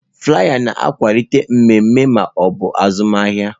Flaiya na-akwalite mmemme ma ọ bụ azụmahịa.